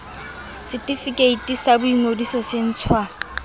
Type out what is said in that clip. setefikeiti sa boingodiso se ntshwa